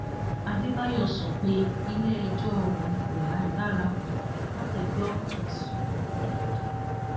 adébáyò sọ pé iléẹjọ òun kò lágbára láti gbọ ẹsùn ìdígunjalè